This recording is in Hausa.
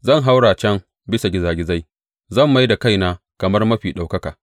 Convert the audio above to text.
Zan haura can bisa gizagizai; zan mai da kaina kamar Mafi Ɗaukaka.